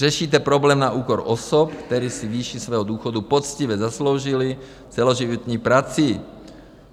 Řešíte problém na úkor osob, které si výši svého důchodu poctivě zasloužily celoživotní prací.